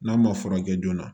N'a ma furakɛ joona